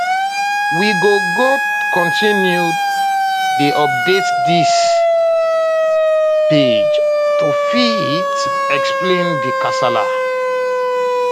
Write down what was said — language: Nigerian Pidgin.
we go go continue dey update dis um page to fit explain um di kasala